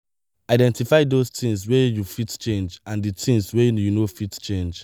identify those things wey you fit change and di things wey you no fit change